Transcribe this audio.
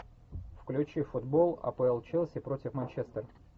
включи футбол апл челси против манчестер